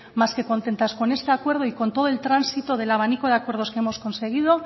más que contentas con este acuerdo y con todo el tránsito del abanico de acuerdo que hemos conseguido